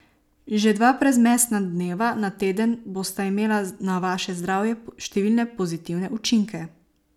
Že dva brezmesna dneva na teden bosta imela na vaše zdravje številne pozitivne učinke.